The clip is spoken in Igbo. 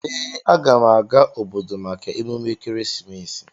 Ee, aga m aga obodo maka emume ekeresimesi.